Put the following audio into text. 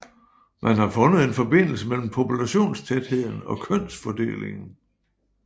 Man har fundet en forbindelse mellem populationstætheden og kønsfordelingen